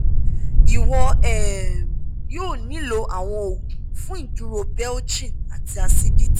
iwọ um yoo nilo awọn oogun fun iduro belching ati acidity